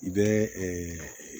I bɛ